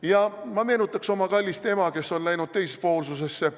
Ja ma meenutaks oma kallist ema, kes on läinud teispoolsusesse.